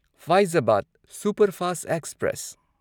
Faizabad superfast express